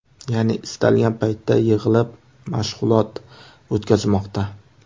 Ya’ni istalgan paytda yig‘ilib mashg‘ulot o‘tkazmoqda.